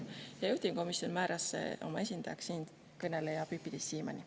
Ja juhtivkomisjon määras oma esindajaks siinkõneleja, Pipi-Liis Siemanni.